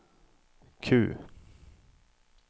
Q